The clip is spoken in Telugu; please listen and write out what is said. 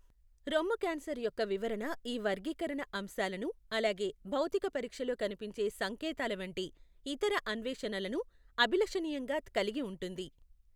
రొమ్ము క్యాన్సర్ యొక్క వివరణ ఈ వర్గీకరణ అంశాలను, అలాగే భౌతిక పరీక్షలో కనిపించే సంకేతాల వంటి ఇతర అన్వేషణలను అభిలషణీయంగా కలిగి ఉంటుంది.